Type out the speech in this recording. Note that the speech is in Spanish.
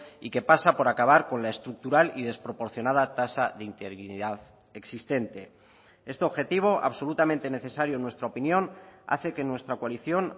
y que pasa por acabar con la estructural y desproporcionada tasa de interinidad existente este objetivo absolutamente necesario en nuestra opinión hace que nuestra coalición